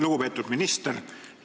Lugupeetud minister!